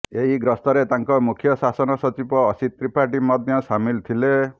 ଏହି ଗସ୍ତରେ ତାଙ୍କ ମୁଖ୍ୟ ଶାସନ ସଚିବ ଅସିତ ତ୍ରିପାଠୀ ମଧ୍ୟ ସାମିଲ ଥିଲେ